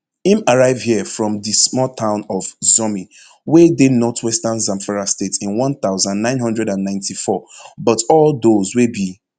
im arrive here from di small town of zurmi wey dey northwestern zamfara state in one thousand, nine hundred and ninety-four but all dose wey be